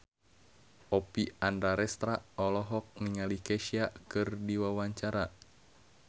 Oppie Andaresta olohok ningali Kesha keur diwawancara